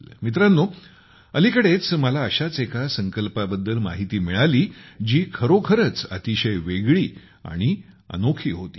मित्रांनो अलीकडेच मला अशाच एका संकल्पाबद्दल माहिती मिळाली जी खरोखरच अतिशय वेगळी आणि अनोखी होती